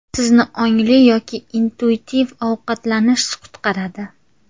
Sizni ongli yoki intuitiv ovqatlanish qutqaradi.